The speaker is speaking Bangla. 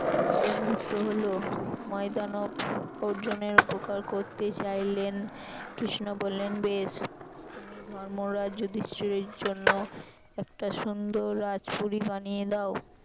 বন্ধুত্ব হল ময়দানব অর্জুনের উপকার করতে চাইলেন কৃষ্ণ বললেন বেশ তুমি ধর্মরাজ যুধিষ্ঠির জন্য একটা সুন্দর রাজপুরী বানিয়ে দাও।